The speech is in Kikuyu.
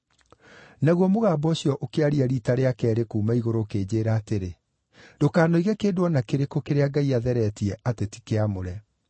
“Naguo mũgambo ũcio ũkĩaria riita rĩa keerĩ kuuma igũrũ ũkĩnjĩĩra atĩrĩ, ‘Ndũkanoige kĩndũ o na kĩrĩkũ kĩrĩa Ngai atheretie atĩ ti kĩamũre.’